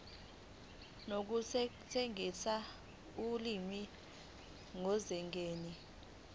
nokusetshenziswa kolimi kusezingeni